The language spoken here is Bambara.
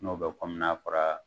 N'o bɛ kɔmi n'a fɔra.